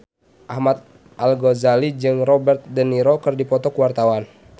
Ahmad Al-Ghazali jeung Robert de Niro keur dipoto ku wartawan